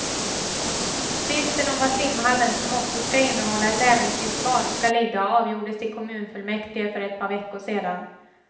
Tvisten om var simhallen, som också skall innehålla ett äventyrsbad, skall ligga avgjordes i kommunfullmäktige för ett par veckor sedan.